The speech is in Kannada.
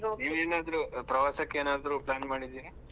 ಏನಾದ್ರೂ ಪ್ರವಾಸಕ್ಕೆ ಏನಾದ್ರು plan ಮಾಡಿದೀರಾ?